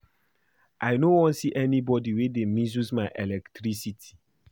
I no wan see anybody wey dey misuse my electricity